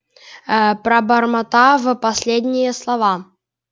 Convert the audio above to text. ээ пробормотав последние слова